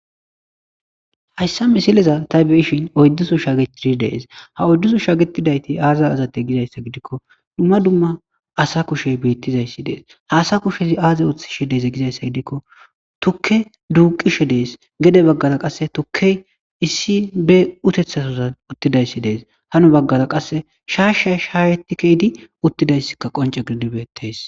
hayssani misileza tay beyishin oydduso shagetidi de'es ha oydduso shagetidayti aza azate gizayssa gidikko dumma dumma asa kushe beettizayssi de:es haasa kushezi aaze ooththishe de'ese gizayssa gidikko tukke duuqishe dees gede baggara qasse tukke issi be utethasodan uttidayssi de'es hano baggara qasse shaasha sharetikeydi uttidayssika qonce gidid betees